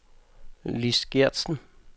Lis Geertsen